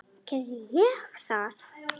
Gerði ég það?